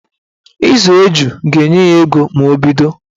Ịzụ eju ga-enye ya ego ma o bido